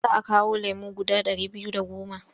Za a kawo lemo guda ɗari biyu da goma.